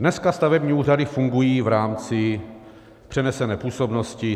Dneska stavební úřady fungují v rámci přenesené působnosti.